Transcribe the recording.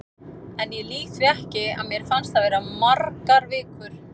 En ég lýg því ekki, að mér fannst það vera margar vikur.